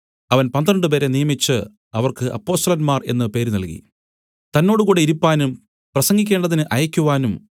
അവൻ പന്ത്രണ്ടുപേരെ നിയമിച്ച് അവർക്ക് അപ്പൊസ്തലന്മാർ എന്നു പേരു നൽകി തന്നോടുകൂടെ ഇരിപ്പാനും പ്രസംഗിക്കേണ്ടതിന് അയക്കുവാനും